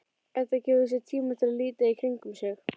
Edda gefur sér tíma til að líta í kringum sig.